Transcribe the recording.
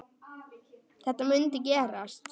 Að þetta mundi gerast.